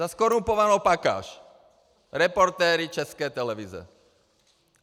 Za zkorumpovanou pakáž, reportéry České televize.